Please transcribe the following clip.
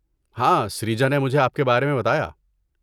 ہاں سریجا نے مجھے آپ کے بارے میں بتایا۔